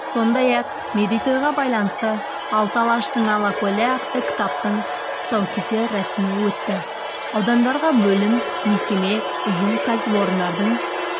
сондай-ақ мерейтойға байланысты алты алаштың алакөлі атты кітаптың тұсаукесер рәсімі өтті аудандағы бөлім мекеме ұйым кәсіпорындардың